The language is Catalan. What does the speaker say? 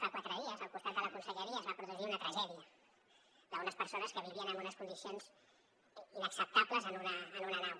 fa quatre dies al costat de la conselleria es va produir una tragèdia d’unes persones que vivien en unes condicions inacceptables en una nau